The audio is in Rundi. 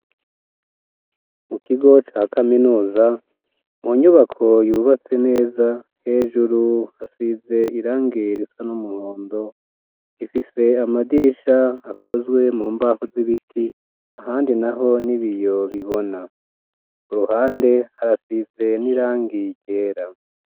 Mu kigo ca kaminuza mu nyubako yubatse neza hejuru hasize irangiye risa n'umuhondo ifise amadirisha akozwe mu mbaho z'ibiti ahandi naho n'ibiyo bibona ku ruhande harasize n'irangi ryera.